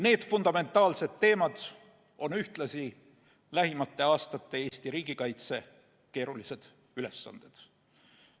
Need fundamentaalsed teemad on ühtlasi lähimate aastate Eesti riigikaitse keerulised ülesanded.